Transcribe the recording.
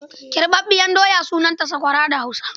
Kirɓaɓɓiyar doya sunanta sakwara da Hausa.